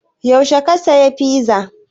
Yaushe ka sayi fiza?